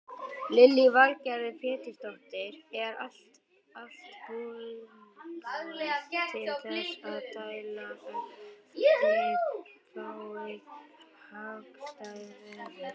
Lillý Valgerður Pétursdóttir: Er allt tilbúið til þess að dæla ef þið fáið hagstætt veður?